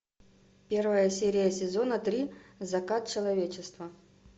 первая серия сезона три закат человечества